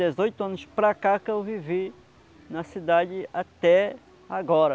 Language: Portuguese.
De dezoito anos para cá que eu vivi na cidade até agora.